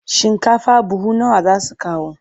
Shinkafa buhu nawa za su kawo?